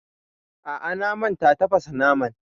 A'a, na manta tafasa naman